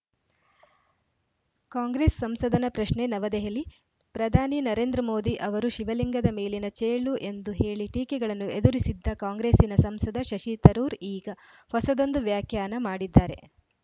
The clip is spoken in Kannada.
ಕಾಂಗ್ರೆಸ್‌ ಸಂಸದನ ಪ್ರಶ್ನೆ ನವದೆಹಲಿ ಪ್ರಧಾನಿ ನರೇಂದ್ರ ಮೋದಿ ಅವರು ಶಿವಲಿಂಗದ ಮೇಲಿನ ಚೇಳು ಎಂದು ಹೇಳಿ ಟೀಕೆಗಳನ್ನು ಎದುರಿಸಿದ್ದ ಕಾಂಗ್ರೆಸ್ಸಿನ ಸಂಸದ ಶಶಿ ತರೂರ್‌ ಈಗ ಹೊಸದೊಂದು ವ್ಯಾಖ್ಯಾನ ಮಾಡಿದ್ದಾರೆ